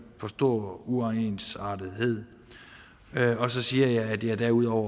for stor uensartethed og så siger jeg at jeg derudover